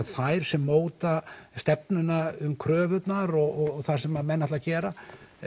þær sem móta stefnuna um kröfurnar og það sem menn ætla að gera